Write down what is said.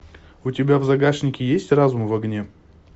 у тебя в загашнике есть разум в огне